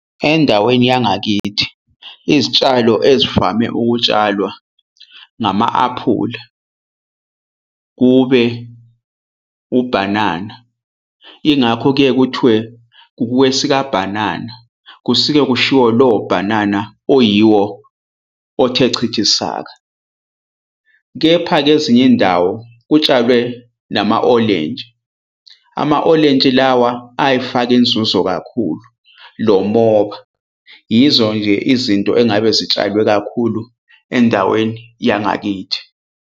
Endaweni yangakithi, izitshalo ezivame ukutshalwa ngama-aphula kube ubhanana. Ingakho kuye kuthiwe kukwesikabhanana, kusuke kushiwo lowo bhanana oyiwo othe chithisaka. Kepha-ke ezinye iy'ndawo kutshalwe nama-olintshi, ama olintshi lawa ayifaka inzuzo kakhulu lomoba. Yizo nje izinto engabe zitshalwe kakhulu endaweni yangakithi.